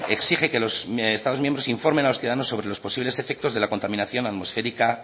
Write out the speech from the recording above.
exige que los estados miembros informen a los ciudadanos sobre los posibles efectos de la contaminación atmosférica